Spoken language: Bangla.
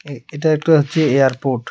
এ এটা একটা হচ্ছে এয়ারপোর্ট .